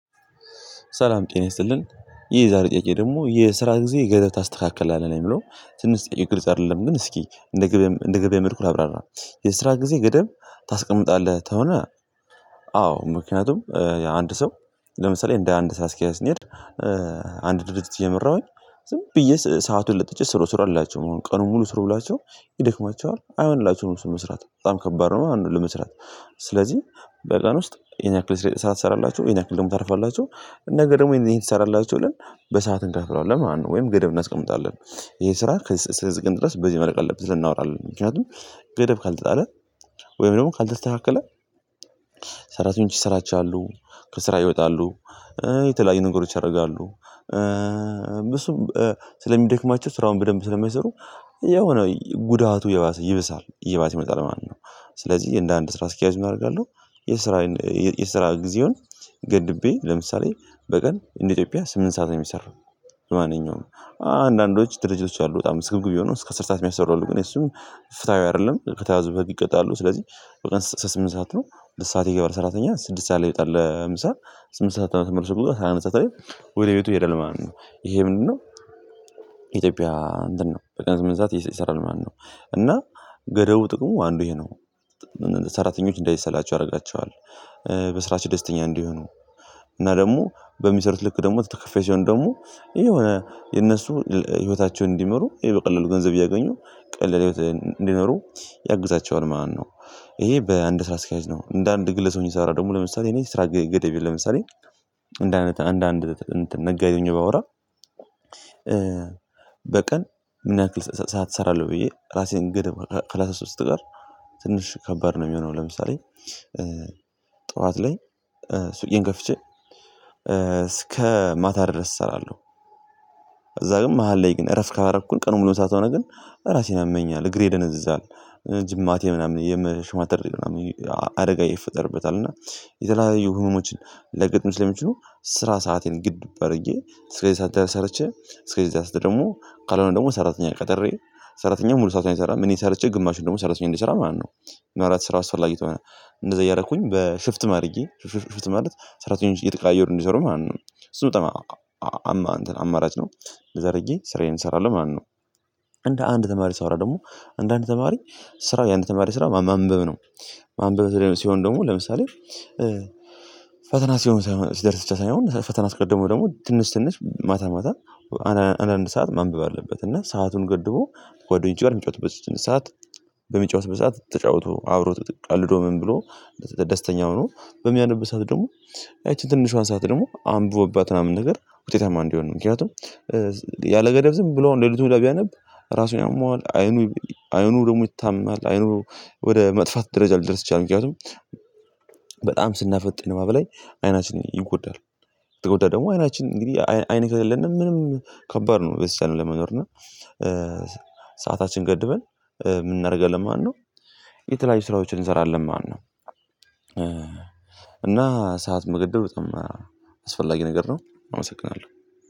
ሰላም ጤና ይስጥልኝ ይህ ዛሬ ጥያቄው ደግሞ የስራ ጊዜ ገደብ ታስተካክል የሚለው ትንሽ ጥይት ግልጽ አይደለም። ግን እስኪ እንደ ገበያ እንደ ገበያ መልኩ ላብራራ። የስራ ጊዜ ገደብ ታስቀምጣለህ ከሆነ። አዎ ምክንያቱም አንድ ሰው ለምሳሌ እንደ አንድ ሰዓት አስኪያዝ እንሄድ። አንድ ድርጅት እየመራሁኝ ዝም ብዬ ሰአቱን ለጥቼ ስሮ ስሮ አላቸው አሁን ቀኑን ሙሉ ስሩ ብላችሁ ይደክማችኋል አይሆንላችሁም እሱን መስራት በጣም ከባድ ነው ለመስራት። ስለዚህ በቀን ውስጥ የኛ ክልስ ስራ ትሰራላችሁ ይህን ያክል ደግሞ ታርፋላችሁ። ደግሞ ታርፋላችሁ ነገ ደግሞ ይሄን ይሰራላችኋል። በሰአት እንከፍላለን ማለት ነው ወይም ገደብ እናስቀምጣለን። ይሄ ስራ ከዚህ እስከድረስ በዚህ መልክ አለበት። ልናወራል ምክንያቱም ገደብ ካልተጣለ ወይም ደግሞ ካልተስተካከለ። ሰራተኞች ይሰራቻሉ ከስራ ይወጣሉ። የተለያዩ ነገሮች ያደርጋሉ። እሱም ስለሚደክማቸው ስራውን በደንብ ስለማይሰሩ። የሆነ ጉዳቱ የባሰ ይብሳል የባሰ ይመጣል ማለት ነው። ስለዚህ እንደ አንድ ስራ አስኪያጅ ምን አደርጋለሁ? የስራ የስራ ጊዜውን ገድቤ ለምሳሌ በቀን እንደ ኢትዮጵያ ስምንት ሰዓት ነው የሚሰራው። ማንኛውም አንዳንዶች ድርጅቶች አሉ በጣም ስግብግብ የሆኑ እስከ ስር ሰዓት የሚያሰሩ አሉ። ግን እሱም ፍትሃዊ አይደለም። ከተያዙ ከተያዙበት ይቀጣሉ። ስለዚህ በቀን ስምንት ሰዓት ነው ስድስት ሰዓት የገባ ሰራተኛ ስድስት ሰዓት ላይ የጠለ ህምሳ ስምንት ሰዓት ነው የምትመርሱት ሰዓት ነው። ወደ ቤቱ ይሄዳል ማለት ነው። ይሄ ምንድነው? ኢትዮጵያ ምንድነው? በቀን ስምንት ሰዓት ይሰራል ማነው? እና ገደቡ ጥቅሙ አንዱ ይሄ ነው። ሰራተኞች እንዳይሰላቸው ያደርጋቸዋል። በስራችን ደስተኛ እንዲህ እንዲሆኑ። እና ደግሞ በሚሰሩት ልክ ደግሞ ተከፈይ ሲሆን ደግሞ ይሄ የሆነ የነሱ ህይወታቸውን እንዲመሩ ይሄ በቀላሉ ገንዘብ እያገኙ ቀለል ህይወት እንዲኖሩ ያግዛቸዋል ማለት ነው። ይሄ በአንድ ስራ አስኪያጅ ነው እንደ አንድ ግለ ሰው እንደምትሰራ ደግሞ ለምሳሌ እኔ ስራ ገደቤ ለምሳሌ። እንደ አንድ አንድ ነጋዴ ሆኜ ባወራ። በቀን ምን ያክል ሰዓት እሰራለሁ ብዬ ራሴን ግድ ከራስ አስራ ሶስት ጋር። ትንሽ ከባድ ነው የሚሆነው ለምሳሌ። ጠዋት ላይ ሱቄን ከፍቼ እስከ ማታ ድረስ እሰራለሁ። እዛ ግን መሃል ላይ ግን እረፍ ካረፍኩኝ ቀኑን ሙሉ ሰዓት ሆነ ግን ራሴን ያመኛለሁ እግሬ ይደነዝዛለሁ ጅማቴ ምናምን የምሽማተር ምናምን አደጋ ይፈጠርበታል። እና የተለያዩ ህመሞችን ሊያጋጥም ስለሚችሉ ስራ ሰአቴን ግድ በረድጌ እስከዚህ ሳታሳርቼ። እስከዚህ ዛሬ ደግሞ ካልሆነ ደግሞ ሰራተኛ ቀጠሬ ሰራተኛ ሙሉ ሰዓት አይሰራም እኔ ሰርቼ ግማሹን ደግሞ ሰራተኛ እንዲሰራ ማለት ነው። ማለት ስራ አስፈላጊ ከሆነ። እንደዛ እያደረኩኝ በሽፍት አድረጌ ሽፍት ማለት ሰራተኞች እየተቃየሩ እንዲሰሩ ማለት ነው። እሱ በጣም አማራጭ ነው። እንደዛ አድርጌ ስራዬን እሰራለሁ ማነው? እንደ አንድ ተማሪ ሳወራ ደግሞ አንዳንድ ተማሪ ስራ የአንድ ተማሪ ስራ ማንበብ ነው። ማንበብ ሲሆን ደግሞ ለምሳሌ ፈተና ሲሆን ሲደርስ ብቻ ሳይሆን ፈተና አስቀድሞ ደግሞ ትንሽ ትንሽ ማታ ማታ አንዳንድ ሰዓት ማንበብ አለበት እና ሰአቱን ገድቦ። ጓደኞቼ ጋር የሚጫወትበት ስትነሳት በሚጫወት በሰአት ተጫውቶ አብሮ ተቀልዶ ምን ብሎ? ደስተኛው ሆኖ በሚያነብ ሰዓት ደግሞ ይቺን ትንሿን ሰዓት ደግሞ አንብቦባት ምናምን ነገር ውጤታማ እንዲሆን ነው። ምክንያቱም ያለገዳብ ዝም ብሎ አሁን ሌሊቱን ወዳ ቢያነብ። ራሱን ያመዋል አይኑ አይኑ ደግሞ ይታመማናል። አይኑ ወደ መጥፋት ደረጃ ልደርስችል ምክንያቱም በጣም ስናፈጥንም በላይ አይናችንን ይጎዳል። ከተጎዳ ደግሞ አይናችን እንግዲህ አይን ከሌለን ምንም ከባድ ነው ለመኖር እና። ሰዓታችን ገድበን ምን እናደርጋለን ማለት ነው? የተለያዩ ስራዎችን እንሰራለን ማነው። እና ሰዓት መግደል በጣም አስፈላጊ ነገር ነው። አመሰግናለሁ።